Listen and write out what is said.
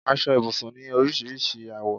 Aṣọ ibùsùn ni oríṣiríṣi àwọ